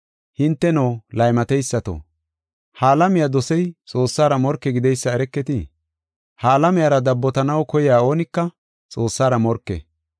Hinteno, laymateysato! Ha alamiya dosey Xoossara morke gideysa ereketii? Ha alamiyara dabbotanaw koyey oonika Xoossara morke.